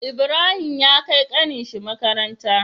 Ibrahim ya kai ƙanin shi makaranta